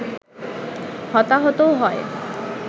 হতাহতও হয়